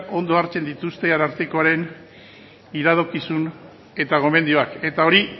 ondo hartzen dituzte arartekoaren iradokizun eta gomendioak eta hori